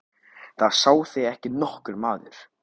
Það sá þig ekki nokkur maður!